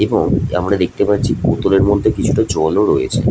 এবং যে আমরা দেখতে পাচ্ছি বোতলের মধ্যে কিছুটা জলও রয়েছে।